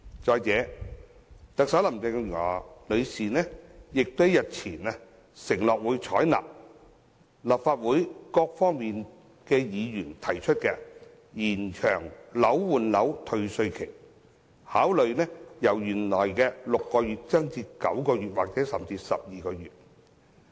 再者，特首林鄭月娥女士日前亦承諾，會採納立法會各黨派議員提出延長換樓退稅期限的建議，考慮將期限由原來的6個月延長至9個月或甚至12個月。